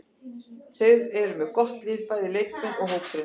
Þeir eru með gott lið, bæði leikmenn og hópurinn.